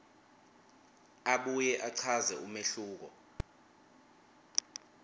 abuye achaze umehluko